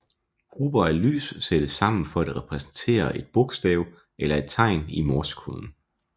Grupper af lys sættes sammen for at repræsentere et bokstav eller et tegn i morsekoden